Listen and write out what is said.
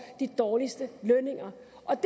de dårligste lønninger